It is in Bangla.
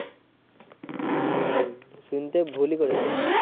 হম শুনতে ভুলই করেছিস।